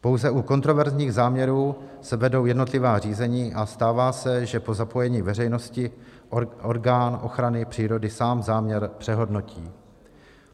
Pouze u kontroverzních záměrů se vedou jednotlivá řízení a stává se, že po zapojení veřejnosti orgán ochrany přírody sám záměr přehodnotí.